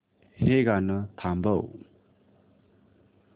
हे गाणं थांबव